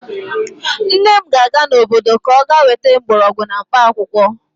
Nne m ga-aga n'obodo ka ọ ga-weta mgbọrọgwụ na mkpaakwụkwọ.